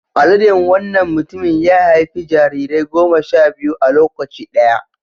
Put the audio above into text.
Aladen wannan mutumin ya haifi jarirai goma sha biyu a lokaci ɗaya.